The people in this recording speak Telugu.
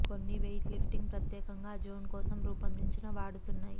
కొన్ని వెయిట్ లిఫ్టింగ్ ప్రత్యేకంగా ఆ జోన్ కోసం రూపొందించిన వాడుతున్నాయి